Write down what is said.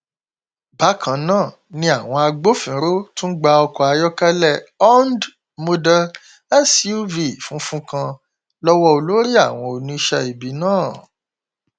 bákan náà ni àwọn agbófinró tún gba ọkọ ayọkẹlẹ hond model suv funfun kan lọwọ olórí àwọn oníṣẹ ibi náà